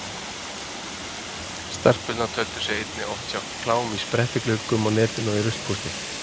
Stelpur töldu sig einnig oft sjá klám í sprettigluggum á netinu og í ruslpósti.